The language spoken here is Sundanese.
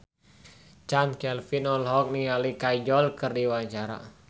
Chand Kelvin olohok ningali Kajol keur diwawancara